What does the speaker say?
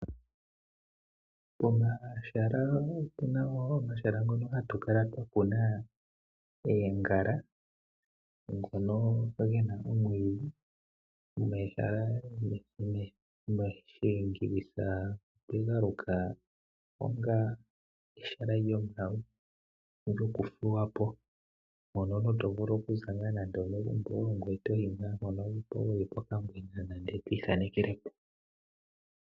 Opu na wo pomahala mpono hatu kala twa kuna oongala, ge na wo omwiidhi. Omahala ngaka oga lukwa kutya omahala gokuthuwa po, mpono omuntu to vulu okuya wu ka ithanekele po.